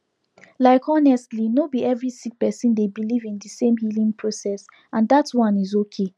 like honestly no bi every sik person dey biliv in di sem healing process and dat one is okay